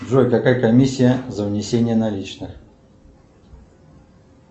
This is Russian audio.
джой какая комиссия за внесение наличных